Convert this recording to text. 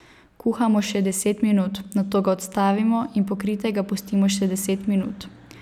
Kuhamo še deset minut, nato ga odstavimo in pokritega pustimo še deset minut.